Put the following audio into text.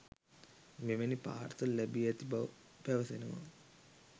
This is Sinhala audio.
මෙවැනි පාර්සල් ලැබී ඇති බව පැවසෙනවා?